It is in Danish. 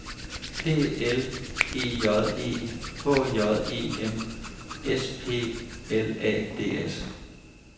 P L E J E H J E M S P L A D S